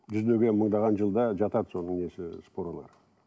жүздеген мыңдаған жылда жатады соның несі спорлары